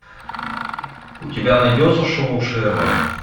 у тебя найдется шоу шерлок